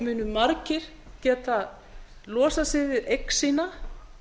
munu margir geta losað sig við eign sína